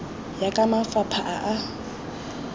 ya ka mafapha a a